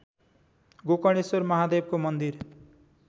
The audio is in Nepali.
गोकर्णेश्वर महादेवको मन्दिर